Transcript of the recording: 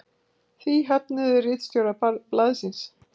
Því höfnuðu ritstjórar blaðsins